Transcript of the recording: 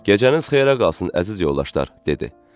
Gecəniz xeyrə qalsın, əziz yoldaşlar, dedi.